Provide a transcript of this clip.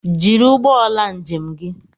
Jiri ụgbọala njem gi